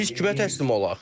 Biz kimə təslim olaq?